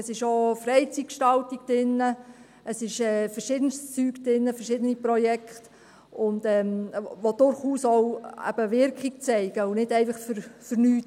Darin enthalten ist auch Freizeitgestaltung, verschiedene Sachen, verschiedene Projekte, die durchaus auch Wirkung zeigen und nicht einfach vergeblich sind.